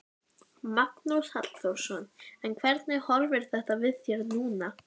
Magnús Halldórsson: En hvernig horfir þetta við þér núna?